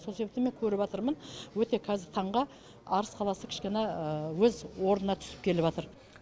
сол себепті мен өте қазіргі таңға арыс қаласы кішкене өз орнына түсіп